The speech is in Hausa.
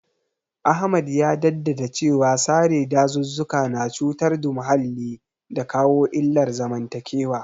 Ahmad ya jaddada cewa sare dazuzzuka na cutar da muhalli da kawo illar zamantakewa.